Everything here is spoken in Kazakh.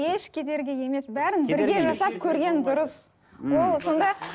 еш кедергі емес бәрін бірге жасап көрген дұрыс ол сонда